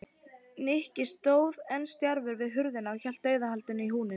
Nikki stóð enn stjarfur við hurðina og hélt dauðahaldi í húninn.